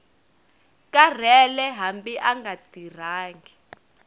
karhele hambi a nga tirhangi